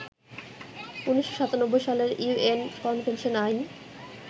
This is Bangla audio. ১৯৯৭ সালের ইউএন কনভেনশন আইন